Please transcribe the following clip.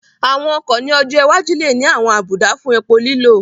Àwọn ọkọ̀ ní ọjọ́ iwájú lè ní àwọn àbùdá fún epo lílò